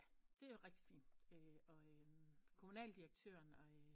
Ja det er rigtig fint og kommunaldirektøren og